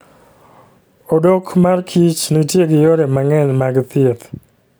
Odok mar kich nitie gi yore mang'eny mag thieth.